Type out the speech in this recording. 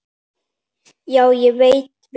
Já, ég veit vinur.